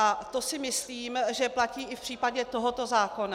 A to si myslím, že platí i v případě tohoto zákona.